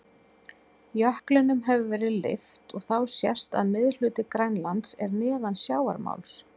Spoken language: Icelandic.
Jöklinum hefur verið lyft og þá sést að miðhluti Grænlands er neðan sjávarmáls.